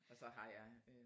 Og så har jeg